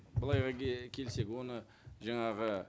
былай келсек оны жаңағы